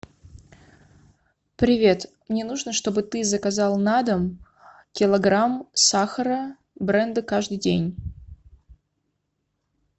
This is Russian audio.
привет мне нужно чтобы ты заказал на дом килограмм сахара бренда каждый день